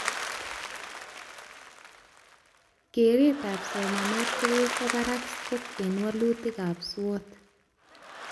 Keretab somanet kokowo barak scope eng walutikab SWOT ni